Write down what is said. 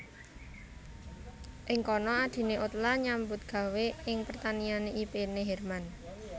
Ing kana adhiné Ottla nyambut gawé ing pertaniané ipéné Hermann